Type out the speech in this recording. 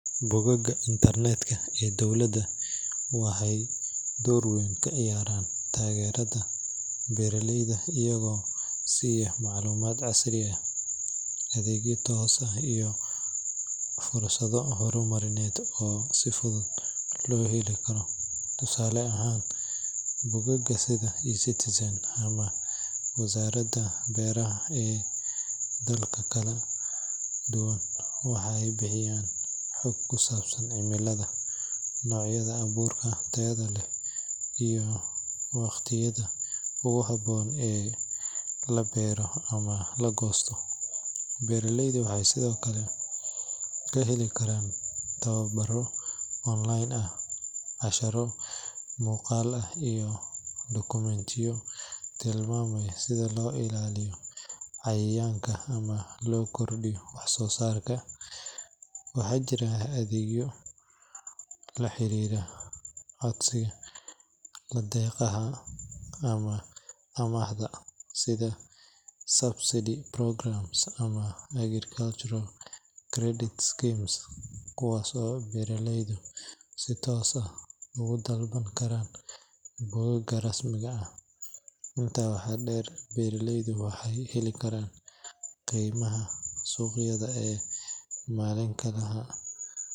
Bogagga internet-ka ee dowladda waxay door weyn ka ciyaaraan taageerada beeraleyda iyagoo siiya macluumaad casri ah, adeegyo toos ah, iyo fursado horumarineed oo si fudud loo heli karo. Tusaale ahaan, bogagga sida eCitizen ama wasaaradaha beeraha ee dalalka kala duwan waxay bixiyaan xog ku saabsan cimilada, noocyada abuurka tayada leh, iyo waqtiyada ugu habboon ee la beero ama la goosto. Beeraleydu waxay sidoo kale ka heli karaan tababaro online ah, casharro muuqaal ah, iyo dukumentiyo tilmaamaya sida loo ilaaliyo cayayaanka ama loo kordhiyo wax-soosaarka. Waxaa jira adeegyo la xiriira codsiga deeqaha ama amaahda, sida subsidy programs ama agricultural credit schemes, kuwaas oo beeraleydu si toos ah uga dalban karaan bogagga rasmiga ah. Intaa waxaa dheer, beeraleyda waxay heli karaan qiimaha suuqyada ee maalinlaha ah.